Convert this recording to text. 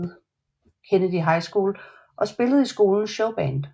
Kennedy High School og spillede i skolens showband